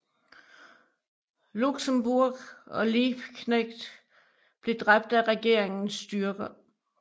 Luxemburg og Liebknecht blev dræbt af regeringens styrker